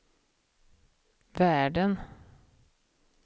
världen